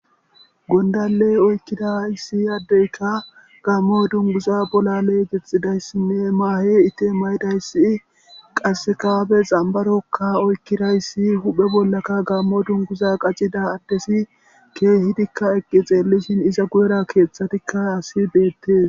Gondaley oykkida issi yaddeyka gaammo dunguza bolaley gexxidayssinne maahe ite mayidayssi qassekabe xambarokka oykkidayssi huphe bollaka gaammo dunguza qacida addesi keehidikka eqqi xeellishin iza guyera keeththatikka asi deettes.